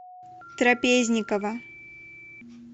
трапезникова